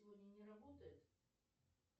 сегодня не работает